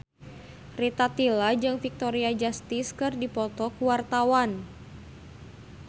Rita Tila jeung Victoria Justice keur dipoto ku wartawan